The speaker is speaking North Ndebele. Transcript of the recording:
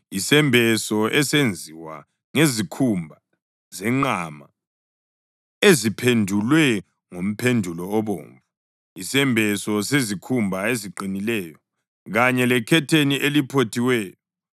isembeso esenziwe ngezikhumba zenqama eziphendulwe ngomphendulo obomvu, isembeso sezikhumba eziqinileyo kanye lekhetheni eliphothiweyo;